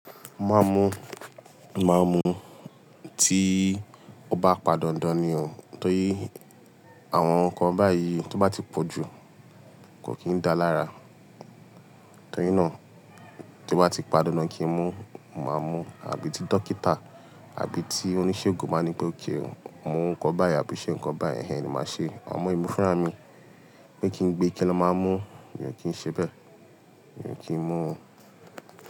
Màá mú, màá mú tí ó bá pa dandan nì o. Nítorí àwọn nǹkan báyìí tó bá ti pọ̀ jù kò kì í dáa lára. Nítorí náà tí ó bá ti pa dandan kí n mú, màá mú àbí tí dókítà àbí tí oníṣègùn bá ní pé kí n mu nǹkan báyìí àbí ṣe nǹkan báyìí, ẹ́hẹ́n ni màá ṣe. Àmọ emi funrami ní kí n gbé kí lọ máa mú, mi ò kì í ṣe bẹ́ẹ̀, mi ò kì í mú.